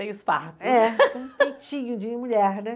fartos. É, com um peitinho de mulher, né?